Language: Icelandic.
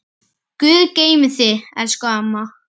Guð geymi þig, elsku amma.